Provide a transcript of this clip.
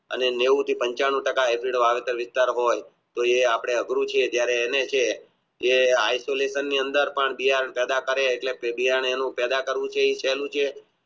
અને નેવુથી પનચાનું ટાકા વિસ્તાર હોય એ આપણે અઘરું છે જે સહેલું છે